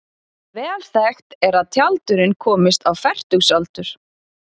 Vel þekkt er að tjaldurinn komist á fertugsaldur.